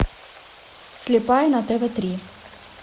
слепая на тв три